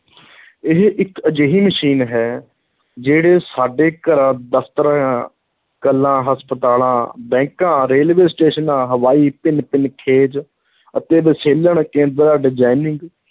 ਇਹ ਇੱਕ ਅਜਿਹੀ ਮਸ਼ੀਨ ਹੈ, ਜਿਹੜੇ ਸਾਡੇ ਘਰਾਂ, ਦਫ਼ਤਰਾਂ, ਕਲਾਂ, ਹਸਪਤਾਲਾਂ, ਬੈਂਕਾਂ, ਰੇਲਵੇ ਸਟੇਸ਼ਨਾਂ, ਹਵਾਈ ਭਿੰਨ-ਭਿੰਨ ਖੇਜ ਅਤੇ ਵਿਸ਼ਲੇਸ਼ਣ ਕੇਂਦਰਾਂ designing